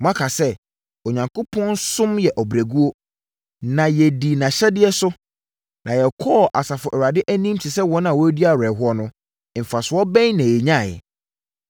“Moaka sɛ, ‘Onyankopɔn som yɛ ɔbrɛguo, na yɛdii nʼahyɛdeɛ so na yɛkɔɔ Asafo Awurade anim te sɛ wɔn a wɔredi awerɛhoɔ no, mfasoɔ bɛn na yɛnyaeɛ?